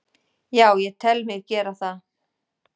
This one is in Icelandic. Já, ég tel mig gera það.